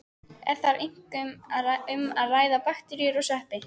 Er þar einkum um að ræða bakteríur og sveppi.